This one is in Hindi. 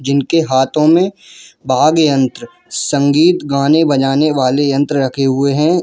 जिनके हाथों में वाद्य यंत्र संगीत गाने बजाने वाले यंत्र रखे हुए हैं।